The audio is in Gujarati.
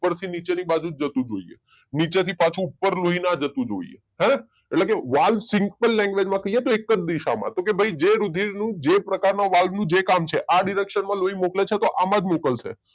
ઉપરથી નીચેની બાજુ જ જતું હોવું જોઈએ નીચેથી પાછુ ઉપરના લોહીના જતું જોઈએ હે ન એટલે કે વાલ સિમ્પલ લેન્ગવેજ માં કહીએ તો એક જ દિશામાં તો કે ભાઈ જે રુધિર નું જે પ્રકારનું વાલ નું જે કામ છે આ ડીરેક્શન માં લોહી મોકલે છે તો આમાં જ મોકલશે